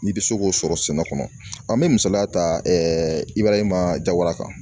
N'i bɛ se k'o sɔrɔ sɛnɛ kɔnɔ an bɛ misaliya ta i b'a ye ma jabala kan